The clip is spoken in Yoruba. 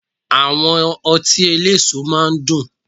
Àwọn ọtí eléso máa ń dùn